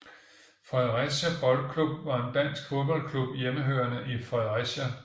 Fredericia Boldklub var en dansk fodboldklub hjemmehørende i Fredericia